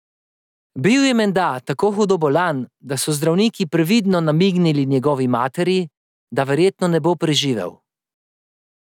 Bil je menda tako hudo bolan, da so zdravniki previdno namignili njegovi materi, da verjetno ne bo preživel.